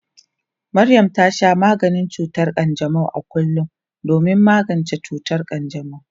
Maryam ta sha maganin cutar kanjamau a kullum domin magance cutar kanjamau.